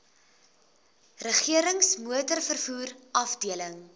regerings motorvervoer afdeling